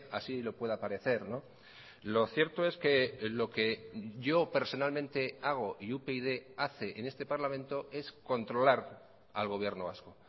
así lo pueda parecer lo cierto es que lo que yo personalmente hago y upyd hace en este parlamento es controlar al gobierno vasco